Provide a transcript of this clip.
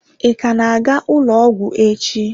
Ị ka na-aga ụlọ ọgwụ echi?